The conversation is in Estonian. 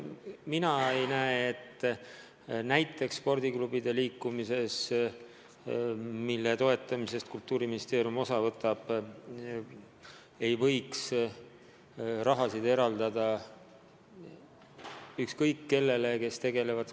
Mina ei näe, et näiteks spordiklubide liikumises, mille toetamisest Kultuuriministeerium osa võtab, ei võiks raha eraldada ükskõik kellele, kes sellega tegelevad.